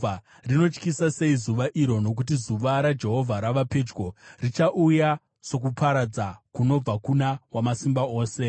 Rinotyisa sei zuva iro! Nokuti zuva raJehovha rava pedyo; richauya sokuparadza kunobva kuna Wamasimba Ose.